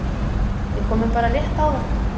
Við komum bara rétt áðan